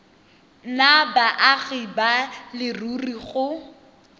nna baagi ba leruri go